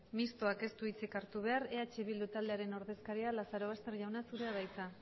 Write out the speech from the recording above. mistoak ez du hitzik hartu behar eh bildu taldearen ordezkaria lazarobaster jauna zurea da hitza